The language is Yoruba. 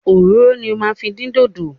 Òróró ni o máa fi din dodo.